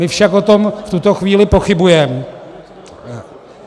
My však o tom v tuto chvíli pochybujeme...